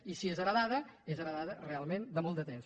i si és heretada és heretada realment de molt de temps